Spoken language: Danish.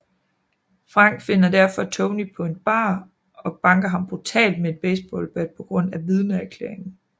Frank finder derefter Tonny på en bar og banker ham brutalt med et baseballbat på grund af vidneerklæringen